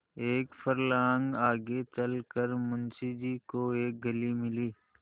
एक फर्लांग आगे चल कर मुंशी जी को एक गली मिली